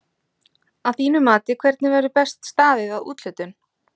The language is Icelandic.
Að þínu mati hvernig verður best staðið að úthlutun?